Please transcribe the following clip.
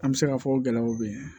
An bɛ se k'a fɔ ko gɛlɛyaw bɛ yen